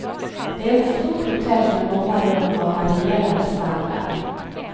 Det är ett stort hotell med många rum av varierande standard.